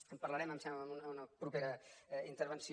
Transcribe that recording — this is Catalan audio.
en parlarem em sembla en una propera intervenció